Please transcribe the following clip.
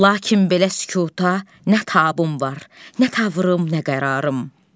Lakin belə sükuta nə tabım var, nə tavrım, nə qərarım.